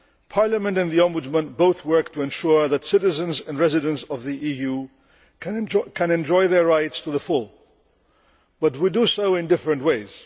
Parliament and the Ombudsman both work to ensure that citizens and residents of the EU can enjoy their rights to the full, but we do so in different ways.